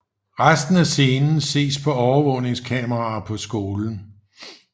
Resten af scenen ses på overvågningskameraer på skolen